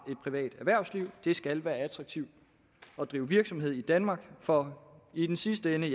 privat erhvervsliv det skal være attraktivt at drive virksomhed i danmark for i den sidste ende